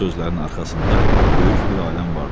Bu sözlərin arxasında böyük bir aləm vardı.